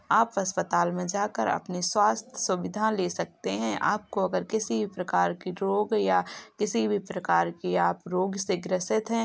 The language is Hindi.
आप अस्पताल में जाकर अपने स्वास्थ्य सुविधा ले सकते हैं आपको अगर किसी प्रकार की रोग या किसी भी प्रकार की आप रोग से ग्रसित हैं।